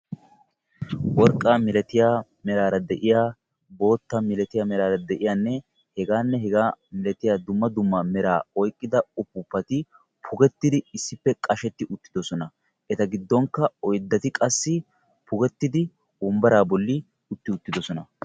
Worqqaa malatiya meraara de'iya boottaa malatiya merara dei'iya hegaanne hegaa malatiya dumma dumma mera oyqqida uppuppati pugettidi issippe qasheti uttiddossona. Eta giddonkka oyddati qassi pugettidi wonbbaraa bolli utti uttidosona.